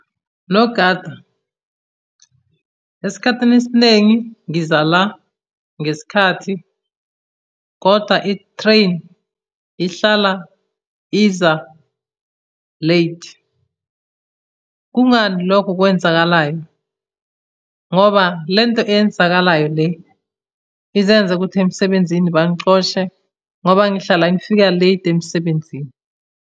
Nogada, esikhathini esinengi ngiza la ngesikhathi, koda i-train ihlala iza late. Kungani lokho kwenzakalayo? Ngoba le nto eyenzakalayo le izoyenza ukuthi emsebenzini bangixoshe, ngoba ngihlala ngifika late emsebenzini.